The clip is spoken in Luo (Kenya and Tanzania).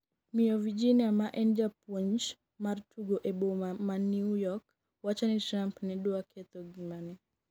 miyo Virginia ma en japuonj mar tugo e boma ma New York wacho ni Trump ne dwa ketho ngimane